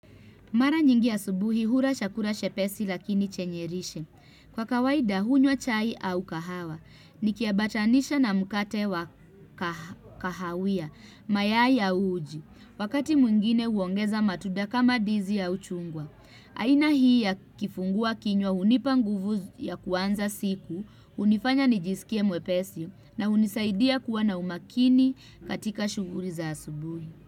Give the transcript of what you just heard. Mara nyingi asubuhi hula chakura chepesi lakini chenye lishe. Kwa kawaida hunywa chai au kahawa, nikiambatanisha na mkate wa kahawia, mayai au uji, wakati mwingine huongeza matunda kama ndizi au chungwa. Aina hii ya kifungua kinywa hunipa nguvu ya kuanza siku, hunifanya nijisikie mwepesi na hunisaidia kuwa na umakini katika shughuli za asubuhi.